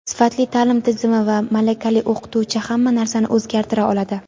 sifatli ta’lim tizimi va malakali o‘qituvchi hamma narsani o‘zgartira oladi.